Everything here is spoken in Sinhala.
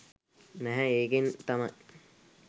නැහැ ඒකෙන් තමයි